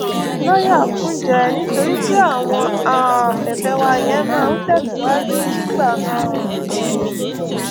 lọyà kúnjẹ nítorí pé àwọn um ẹfẹ wa yẹn máa ń tẹsíwájú nígbà um míí